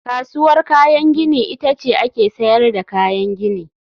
Kasuwar kayan gini ita ce ake sayar da kayan gini